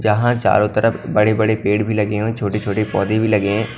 जहां चारों तरफ बड़े बड़े पेड़ भी लगी हुई छोटे छोटे पौधे भी लगे हैं।